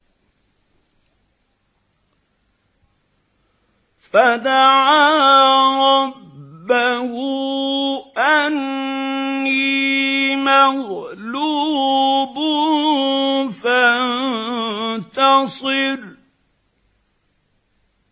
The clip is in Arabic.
فَدَعَا رَبَّهُ أَنِّي مَغْلُوبٌ فَانتَصِرْ